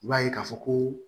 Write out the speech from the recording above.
I b'a ye k'a fɔ ko